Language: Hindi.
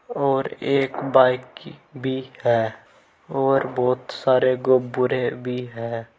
और एक बाइक की भी है और बहोत सारे गुब्बुरे भी है।